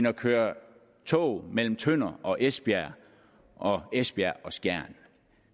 og køre tog mellem tønder og esbjerg og esbjerg og skjern